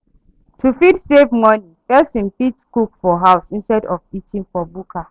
To fit save money, person fit cook for house instead of eating for bukka